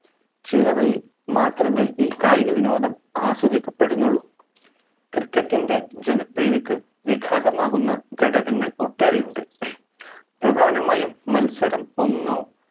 ചില മാത്രമേ ഈ കായിക വിനോദം ആസ്വദിക്കപെടുന്നുള്ളു cricket ൻറെ ജനപ്രീതിക്ക് വിഘാതമാകുന്ന ഘടകങ്ങൾ ഒട്ടേറെയുണ്ട് പ്രധാനമായും മത്സരം ഒന്നോ